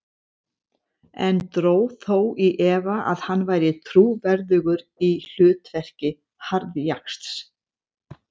En dró þó í efa að hann væri trúverðugur í hlutverki harðjaxls.